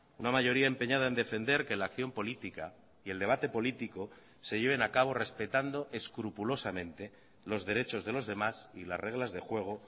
una mayoría empeñada en defender que la acción política y el debate político se lleven a cabo respetando escrupulosamente los derechos de los demás y las reglas de juego